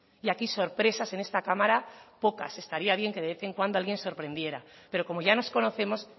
y aquí sorpresas en esta cámara pocas estaría bien que de vez en cuando alguien sorprendiera pero como ya nos conocemos